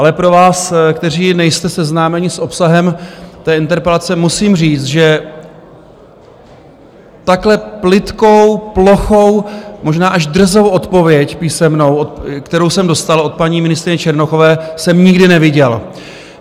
Ale pro vás, kteří nejste seznámeni s obsahem té interpelace, musím říct, že takhle plytkou, plochou, možná až drzou odpověď písemnou, kterou jsem dostal od paní ministryně Černochové, jsem nikdy neviděl.